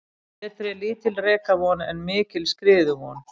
Betri er lítil rekavon en mikil skriðuvon.